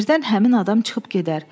Birdən həmin adam çıxıb gedər.